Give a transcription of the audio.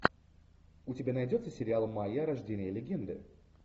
у тебя найдется сериал майя рождение легенды